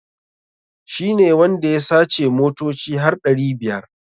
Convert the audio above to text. Shi ne wanda ya sace motoci har ɗari biyar.